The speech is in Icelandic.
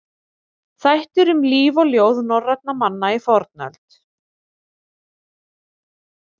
Þættir um líf og ljóð norrænna manna í fornöld.